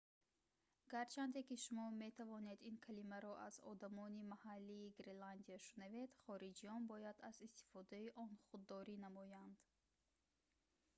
гарчанде ки шумо метавонед ин калимаро аз одамони маҳаллии гренландия шунавед хориҷиён бояд аз истифодаи он худдорӣ намоянд